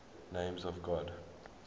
names of god